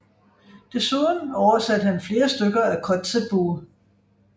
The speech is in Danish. Desuden oversatte han flere stykker af Kotzebue